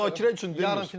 Zatən müzakirə üçün demirəm.